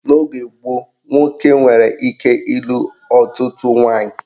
N'oge gboo, nwoke nwere ike ịlụ ọtụtụ nwaanyị